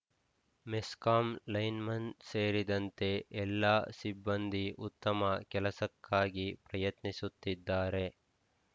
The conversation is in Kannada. ಮೆಸ್ಕಾಂ ಲೈನ್‌ಮನ್‌ ಸೇರಿದಂತೆ ಎಲ್ಲ ಸಿಬ್ಬಂದಿ ಉತ್ತಮ ಕೆಲಸಕ್ಕಾಗಿ ಪ್ರಯತ್ನಿಸುತ್ತಿದ್ದಾರೆ